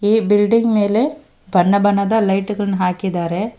ಈ ಬಿಲ್ಡಿಂಗ್ ಮೇಲೆ ಬಣ್ಣ ಬಣ್ಣದ ಲೈಟುಗಳ್ನ ಹಾಕಿದ್ದಾರೆ.